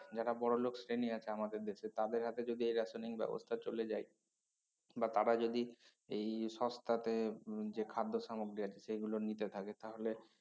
যারা বড়লোক শ্রেনী আছে আমাদের দেশে তাদের হাতে যদি এই rationing ব্যবস্তা চলে যায় বা তারা যদি এই সস্তাতে উম যে খাদ্যসামগ্রী আছে সেইগুলো নিতে থাকে তাহলে